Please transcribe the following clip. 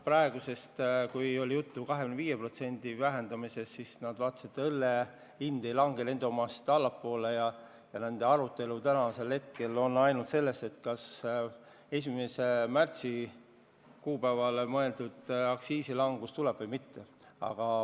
Aga kui oli juttu meie 25%-sest vähendamisest, siis nad mõistsid, et õlle hind ei lange nende omast allapoole, ja nende arutelu praegu piirdub ainult sellega, kas 1. märtsiks plaanitud aktsiisilangus tuleb või mitte.